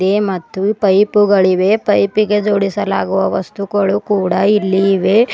A ಮತ್ತು ಪೈಪುಗಳಿವೆ ಪೈಪಿಗೆ ಜೋಡಿಸಲಾಗುವ ವಸ್ತುಗಳು ಕೂಡ ಇಲ್ಲಿ ಇವೆ.